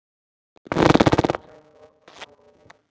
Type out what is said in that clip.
Bjarni Gunnar.